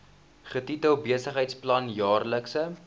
getitel besigheidsplan jaarlikse